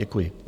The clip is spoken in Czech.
Děkuji.